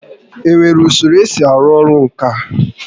Enwere usoro esi arụ orụ ǹkà?